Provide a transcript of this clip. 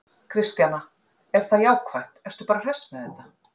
Kristjana: Er það jákvætt, ertu bara hress með þetta?